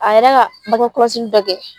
A yɛrɛ ka mako dɔ kɛ.